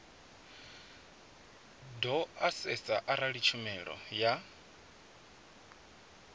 do asesa arali tshumelo ya